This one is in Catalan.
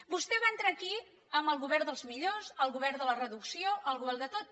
vostè va entrar aquí amb el govern dels millors el govern de la reducció el govern de tot